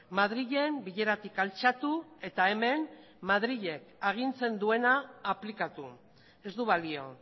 madrilen bileratik altxatu eta hemen madrilek agintzen duena aplikatu ez du balio